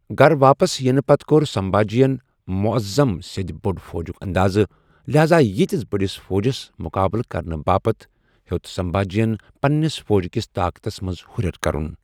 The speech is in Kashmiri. گھر واپس یِنہٕ پتہٕ كو٘ر سنبھاجی ین معظم سٕدِ بٕڑِی فوجٗك اندازٕ ، لہاذا ییتِس بڈِس فوجس مٗقابلہٕ كرنہٕ باپت ہیو٘ت سنبھاجی ین پنٕنِس فوج كِس طاقتس منز ہٗریر كرٗن ۔